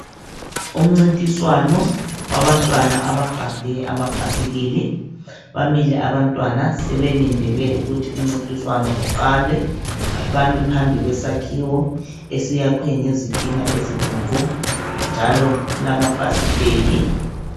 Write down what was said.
Umncintiswano wabantwana abagade amabhayisikili bamile abantwana sebelindele ukuthi imncintiswano uqale bami phambi kwesakhiwo esiyakhwe ngezitina ezibomvu njalo kulamafasiteli